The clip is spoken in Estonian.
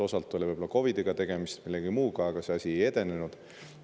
Osalt oli võib-olla tegemist COVID‑iga, võib-olla ka millegi muuga, aga see asi ei edenenud.